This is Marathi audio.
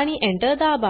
आणि Enter दाबा